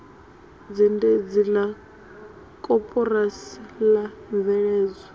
zhendedzi la koporasi la mveledzo